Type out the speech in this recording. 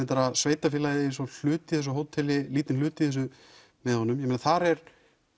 sveitafélagið eigi hlut í þessu hóteli lítinn hluta með honum þar er